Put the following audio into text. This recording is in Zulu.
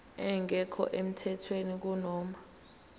engekho emthethweni kunoma